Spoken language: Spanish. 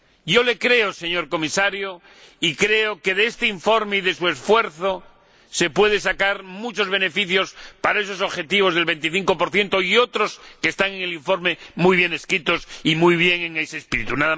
Yo le creo, señor Comisario, y creo que de este informe y de su esfuerzo se pueden sacar muchos beneficios para esos objetivos del 25 y otros que están en el informe muy bien escritos, y muy bien inscritos dentro de ese espíritu.